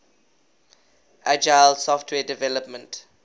agile software development